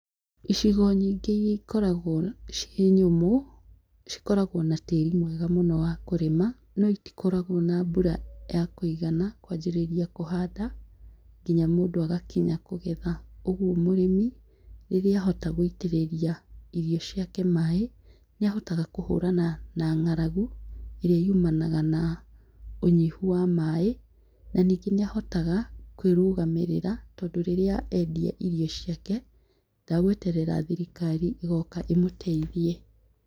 Icigo nyingĩ iria ikoragwo ciĩ nyũmũ, cikoragwo na tĩĩri mwega mũno wa kũrĩma, no itikoragwo na mbura ya kũigana, kwanjĩrĩria kũhanda, nginya mũndũ agakinya kũgetha. Ũguo mũrĩmi, rĩrĩa ahota gũitĩrĩria irio ciake maaĩ, nĩ ahotaga kũhũrana na ng'aragũ, ĩrĩa yumanaga na ũnyihu wa maaĩ, na ningĩ nĩ ahotaga kwĩrũgamĩrĩra tondũ rĩrĩa endia irio ciake, ndagweterera thirikari ĩgooka ĩmũteithie.